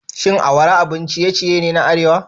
Shin awara abun ciye-ciye ne na arewa?